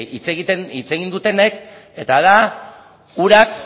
hitz egin dutenek eta da urak